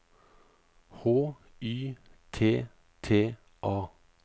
H Y T T A